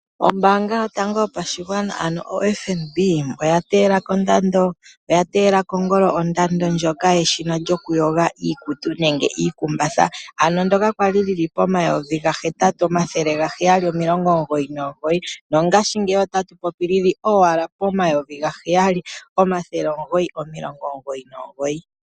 Ombaanga yotango yopashingwana ano oFNB, oya teela kongolo ondando ndjoka yeshina lyoku yoga iikutu nenge iikumbatha ano ndyoka lyali poN$8 799 no ngashi ngeyi otatu popi lili poN$7 999.